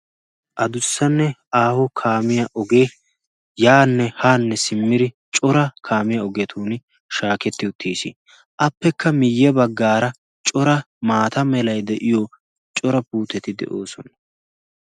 adussanne aaho kaamiya ogee yaanne haanne simmiri cora kaamiya ogeetuuni shaaketti uttiis appekka miyya baggaara cora maata melai de'iyo cora puuteti de'oosona